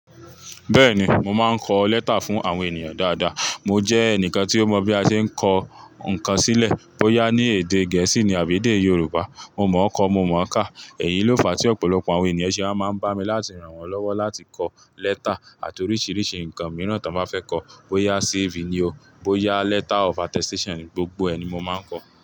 Bẹ́ẹ̀ni, mo máa ń kọ lẹ́tà fún àwọn ènìyàn dáadáa. Mo jẹ́ ẹnìkan tí ó mọ bí a ṣe ń kọ nǹkan sílẹ̀, bóyá ní èdè Gẹ̀ẹ́sì ní àbí èdè Yorùbá, mo mọ̀ ọ́ kọ, mo mọ̀-ọ́n kà. Èyí ló fà á tí ọ̀pọ̀lọpọ̀ àwọn ènìyàn ṣe wá máa ń bá mi láti ràn wọ́n lọ́wọ́ láti kọ lẹ́tà àti oríṣìíríṣìí nǹkan mìíràn tí wọ́n bá fẹ́ kọ. Bóyá CV ni ó, bóyá letter of attestation ni, gbogbo ẹ̀ ni mo máa ń kọ.